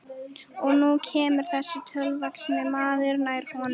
Og nú kemur þessi tröllvaxni maður nær honum.